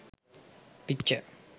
picture